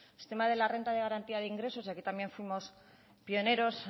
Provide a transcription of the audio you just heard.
sistema de la renta de garantía de ingresos y aquí también fuimos pioneros